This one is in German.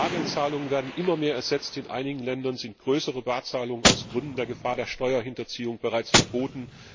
Bargeldzahlungen werden immer mehr ersetzt, in einigen Ländern sind größere Barzahlungen aus Gründen der Gefahr der Steuerhinterziehung bereits verboten.